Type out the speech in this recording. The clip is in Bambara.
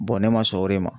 ne ma sɔn o de ma